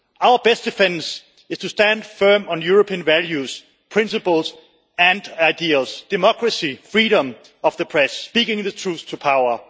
Our best defence is to stand firm on European values, principles and ideals Democracy, freedom of the press, speaking the truth to power.